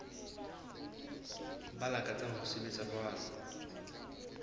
ba lakatsang ho sebetsa jwalo